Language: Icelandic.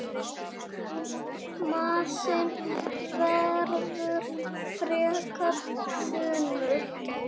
Massinn verður frekar þunnur.